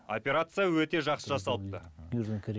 операция өте жақсы жасалыпты